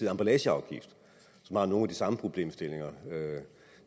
emballageafgift som har nogle af de samme problemstillinger